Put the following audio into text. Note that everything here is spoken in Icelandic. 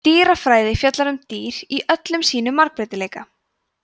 dýrafræði fjallar um dýr í öllum sínum margbreytileika